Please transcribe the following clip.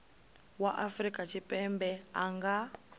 wa afrika tshipembe a nga